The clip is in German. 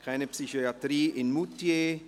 «Keine Psychiatrie in Moutier!».